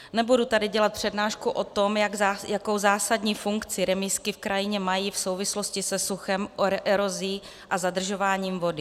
Nebudu tady dělat přednášku o tom, jakou zásadní funkci remízky v krajině mají v souvislosti se suchem, erozí a zadržováním vody.